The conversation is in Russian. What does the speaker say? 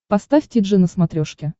поставь ти джи на смотрешке